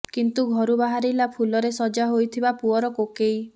କିନ୍ତୁ ଘରୁ ବାହାରିଲା ଫୁଲରେ ସଜା ହୋଇଥିବା ପୁଅର କୋକେଇ